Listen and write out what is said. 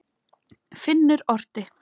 Finnur orti.